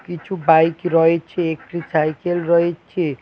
কিছু বাইক রয়েছে একটি সাইকেল রয়েছে।